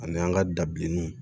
Ani an ka da bilenninw